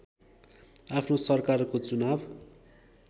आफ्नो सरकारको चुनाव